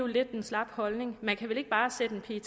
lidt en slap holdning man kan vel ikke bare sætte en